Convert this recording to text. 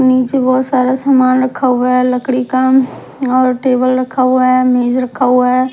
नीचे बहोत सारा समान रखा हुआ है लकड़ी का और टेबल रखा हुआ है मेज रखा हुआ है।